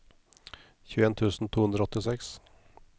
tjueen tusen to hundre og åttiseks